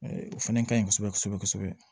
O fana ka ɲi kosɛbɛ kosɛbɛ kosɛbɛ kosɛbɛ